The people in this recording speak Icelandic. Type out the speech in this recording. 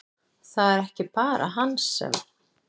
Það er ekki bara hann sem!